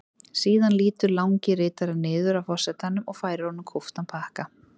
Síðan lýtur langi ritarinn niður að forsetanum og færir honum kúptan pakka.